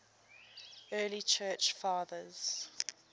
early church fathers